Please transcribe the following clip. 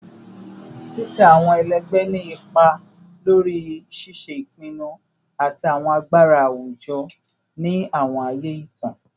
Titẹ awọn ẹlẹgbẹ ni ipa lori ṣiṣe ipinnu ati awọn agbara awujọ ni awọn aaye itan